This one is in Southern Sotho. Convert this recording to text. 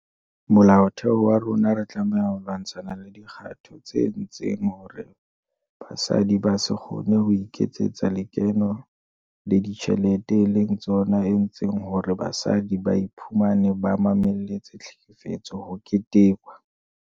Molaotheo wa rona re tlameha ho lwa-ntshana le dikgato tse etsang hore basadi ba se kgone ho iketsetsa lekeno le dijthelete e leng tsona etseng hore basadi ba iphumane ba mamelletse tlhekefetso ho ketekwa.